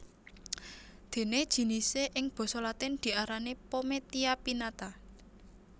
Dene jinisé ing basa latin diarani pometia pinnata